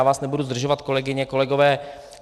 Já vás nebudu zdržovat, kolegyně, kolegové.